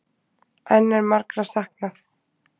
Enn er margra saknað